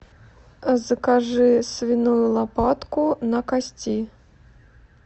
закажи свиную лопатку на кости